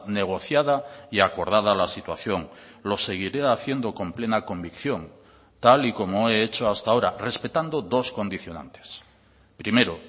negociada y acordada a la situación lo seguiré haciendo con plena convicción tal y como he hecho hasta ahora respetando dos condicionantes primero